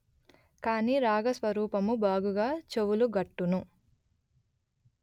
కాని రాగ స్వరూపము బాగుగా చెవులగట్టును